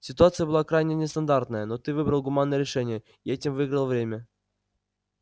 ситуация была крайне нестандартная но ты выбрал гуманное решение и этим выиграл время